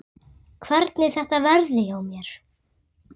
Hvernig þetta verði hjá mér.